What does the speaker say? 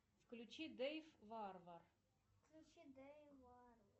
включи дэйв варвар включи дэйв варв